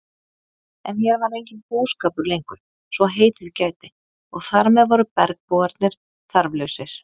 En hér var enginn búskapur lengur svo heitið gæti og þar með voru bergbúarnir þarflausir.